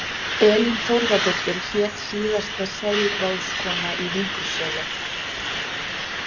Elín Þórðardóttir hét síðasta selráðskonan í Víkurseli.